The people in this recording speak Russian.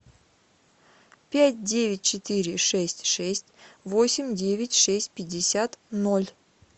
пять девять четыре шесть шесть восемь девять шесть пятьдесят ноль